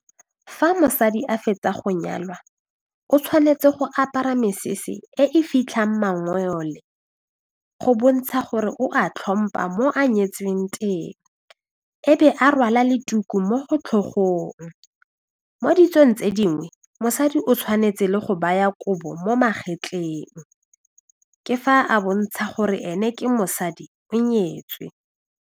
Fa mosadi a fetsa go nyalwa o tshwanetse go apara mesese e e fitlhang mangole go bontsha gore o a tlhompha mo a nyetsweng teng e be a rwala le tuku mo tlhogong mo ditsong tse dingwe mosadi o tshwanetse le go baya kobo mo magetleng ke fa a bontsha gore ene ke mosadi o nyetswe.